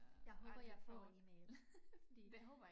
Jeg håber jeg får en e-mail fordi